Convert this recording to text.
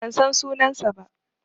Ban san sunansa ba.